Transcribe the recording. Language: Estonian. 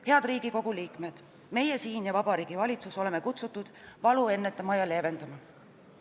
Head Riigikogu liikmed, meie siin ja Vabariigi Valitsus oleme kutsutud valu ennetama ja leevendama.